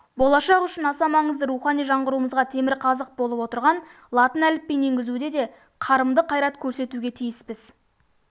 болашақ үшін аса маңызды рухани жаңғыруымызға темірқазық болып отырған латын әліпбиін енгізуде де қарымды қайрат көрсетуге тиіспіз